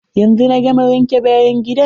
Yanzu na gama wanke bayan gidan.